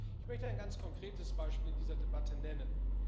Ich möchte ein ganz konkretes Beispiel in dieser Debatte nennen.